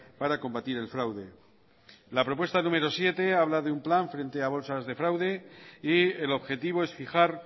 para combatir el fraude la propuesta número siete habla de un plan frente a bolsas de fraude y el objetivo es fijar